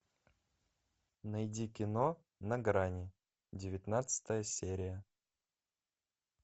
найди кино на грани девятнадцатая серия